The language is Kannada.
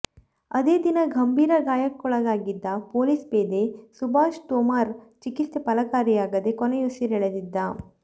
ಅದೇ ದಿನ ಗಂಭೀರ ಗಾಯಕ್ಕೊಳಗಾಗಿದ್ದ ಪೊಲೀಸ್ ಪೇದೆ ಸುಭಾಷ್ ತೋಮರ್ ಚಿಕಿತ್ಸೆ ಫಲಕಾರಿಯಾಗದೆ ಕೊನೆಯುಸಿರೆಳೆದಿದ್ದ